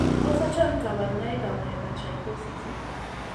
Tos achon kabarunaik ab Hypertrichosis ?